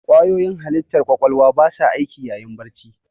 Ƙwayoyin halittar ƙwaƙwalwa ba sa aiki yayin barci.